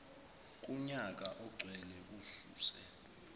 kunyaka ogcwele ususe